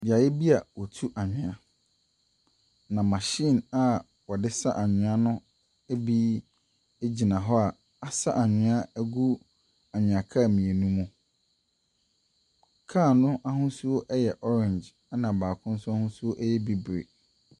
Beaeɛ bi a wɔtu anwea, na machine a wɔde sa anwea no bi gyina hɔ a asa anwea agu anwea kaa mmienu mu. Kaa no ahosuo yɛ orange, ɛnna baako nso ho nso yɛ bibire.